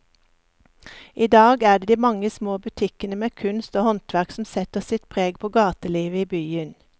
I dag er det de mange små butikkene med kunst og håndverk som setter sitt preg på gatelivet i byen.